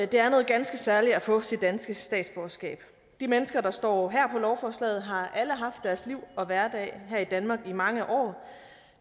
det er noget ganske særligt at få sit danske statsborgerskab de mennesker der står her på lovforslaget har alle haft deres liv og hverdag her i danmark i mange år